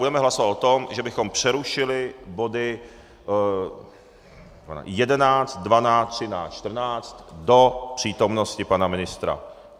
Budeme hlasovat o tom, že bychom přerušili body 11, 12, 13, 14 do přítomnosti pana ministra.